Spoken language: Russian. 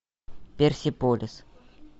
персеполис